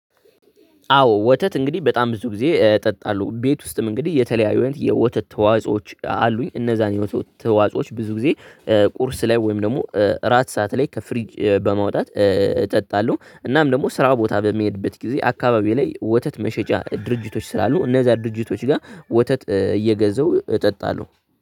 አዎ ወተት እንግዲህ በጣም ብዙ ግዜ እጠጣለሁ። ቤት ውስጥም እንግዲህ የተለያዩ የወተት ተዋጽአዎች አሉኝ። እነዛንዎችሁ ተዋጽአዎች ብዙ ግዜ ቁርስ ላይ ወይም ደግሞ እራት ሰዓት ላይ ከፍሪጅ በማውጣት እጠጣለሁ። እናም ደግሞ ስራ ቦታ በምሄድበት ግዜ አከባቤ ላይ ወተት መሸጫ ድርጅቶች ስላሉ እነዛ ድርጅቶች ጋ ወተት እየገዛሁ እጠጣለሁ።